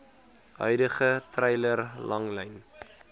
huidige treiler langlyn